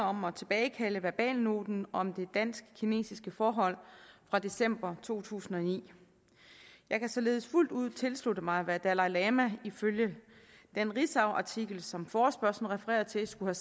om at tilbagekalde verbalnoten om det dansk kinesiske forhold fra december to tusind og ni jeg kan således fuldt ud tilslutte mig hvad dalai lama ifølge den ritzauartikel som forespørgslen refererer til skulle